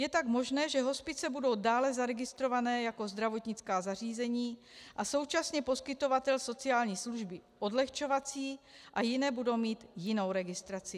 Je tak možné, že hospice budou dále zaregistrovány jako zdravotnická zařízení a současně poskytovatel sociální služby odlehčovací a jiné budou mít jinou registraci.